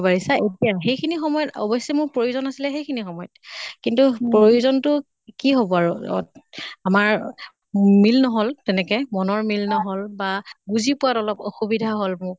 পাৰিছা এতিয়া সেইখিনি সময়ত অৱশ্য়ে মোৰ প্ৰয়োজন আছিলে সেই খিনি সময়ত। কিন্তু প্ৰয়োজনতো কি হʼব আৰু আমাৰ মিল নহল তেনেকে মনৰ মিল নহল বা বুজি পোৱা অলপ অসুবিধা মোক।